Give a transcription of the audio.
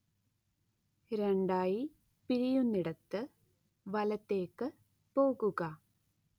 രണ്ടായി പിരിയുന്നയിടത്ത് വലത്തേക്ക് പോകുക